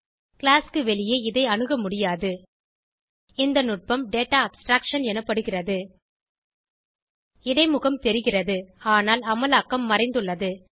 class க்கு வெளியே இதை அணுக முடியாது இந்த நுட்பம் டேட்டா அப்ஸ்ட்ராக்ஷன் எனப்படுகிறது இடைமுகம் தெரிகிறது ஆனால் அமலாக்கம் மறைந்துள்ளது